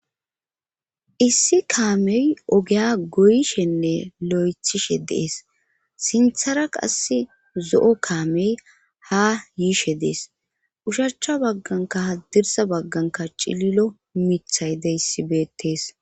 issi kaamey ogeya goyishenne lo7ethishe deees sinthara qass zo7o kaamey ha yiishe dees ushachcha bagganka ha dirsa bagganka cililo mithay deyssibeettees